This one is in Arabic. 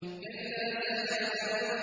كَلَّا سَيَعْلَمُونَ